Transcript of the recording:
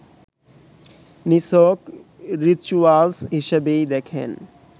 নিছক রিচুয়ালস হিসেবেই দেখেন